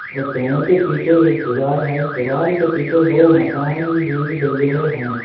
और पैर के पीछे एक दीवाल है दीवाल के पीछे दो मकान भी बिल्डिंगे हैं।